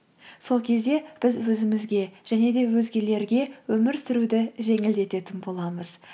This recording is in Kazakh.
сол кезде біз өзімізге және де өзгелерге өмір сүруді жеңілдететін боламыз